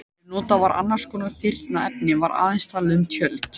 Ef notað var annars konar þynnra efni var aðeins talað um tjöld.